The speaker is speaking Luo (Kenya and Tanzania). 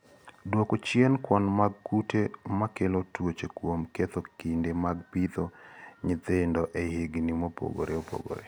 Duoko chien kwan mag kute makelo tuoche kuom ketho kinde mag pidho nyithindo e higni mopogore opogore.